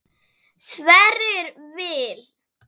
Sverrir Vil.